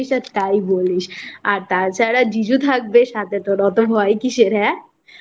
আর তাই বলিস আর তাছাড়া জিজু থাকবে সাথে তোর অত ভয় কিসের হে